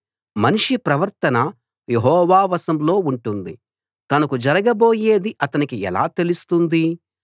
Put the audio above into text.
మనిషి ప్రవర్తన యెహోవా వశంలో ఉంటుంది తనకు జరగబోయేది అతనికి ఎలా తెలుస్తుంది